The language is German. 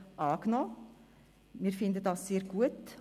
Das finden wir sehr gut.